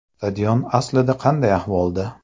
Stadion aslida qanday ahvolda?